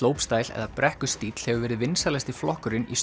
slopestyle eða brekkustíll hefur verið vinsælasti flokkurinn í